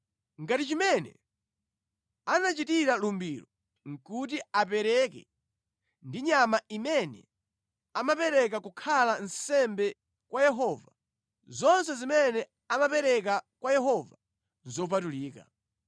“ ‘Ngati chimene anachitira lumbiro kuti apereke ndi nyama imene amapereka kukhala nsembe kwa Yehova, zonse zimene amapereka kwa Yehova nʼzopatulika.